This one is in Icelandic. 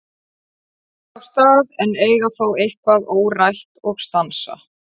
Þau ganga af stað en eiga þó eitthvað órætt og stansa.